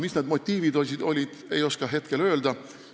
Mis olid need motiivid, ei oska öelda.